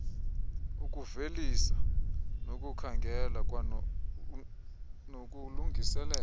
ukuvelisa nokukhangela nokulungiselela